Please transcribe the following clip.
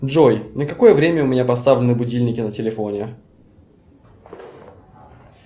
джой на какое время у меня поставлены будильники на телефоне